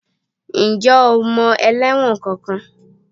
Ǹjẹ́ o mọ ẹlẹ́wọ̀n kankan?